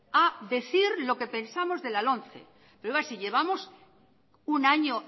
a decir lo que pensamos de la lomce pero si llevamos un año